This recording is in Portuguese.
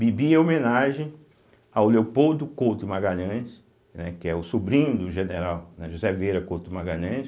Bibi é homenagem ao Leopoldo Couto Magalhães, né, que é o sobrinho do general, né, José Vieira Couto Magalhães.